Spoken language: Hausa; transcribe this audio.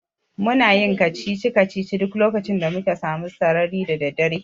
Muna yin kacici-kacicici duk lokacin da muke samu sarari da daddare.